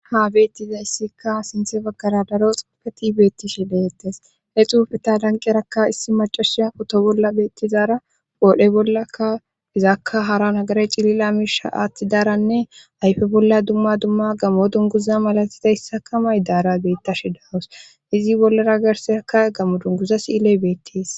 Ha beettizayssikka sinthe baggara daro xapfeti beetti shileettes he xuufeta lanqerakka issi macashia oto bolla beettizara qoodhe bollaka izakka hara nagare cilila miisha aatti daaranne ayfe bolla dumma dumma gammo dunguza malatizayssaka may daara beetta shi dawus izi bollara garserakka gammo dunguza siile beettis.